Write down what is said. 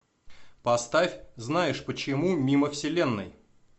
поставь знаешь почему мимо вселенной